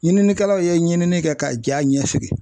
Ɲininikɛlaw ye ɲinini kɛ ka ja ɲɛsigi